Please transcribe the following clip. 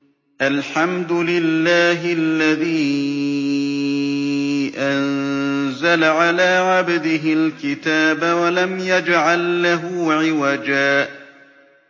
الْحَمْدُ لِلَّهِ الَّذِي أَنزَلَ عَلَىٰ عَبْدِهِ الْكِتَابَ وَلَمْ يَجْعَل لَّهُ عِوَجًا ۜ